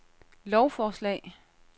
lovforslag